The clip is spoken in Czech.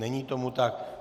Není tomu tak.